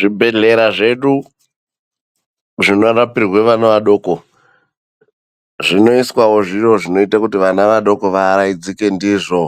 Zvibhedhlera zvedu zvinorapirwe vana vadoko zvinoiswawo zviro zvinoite kuti vana vadoko vaaraidzike ndizvo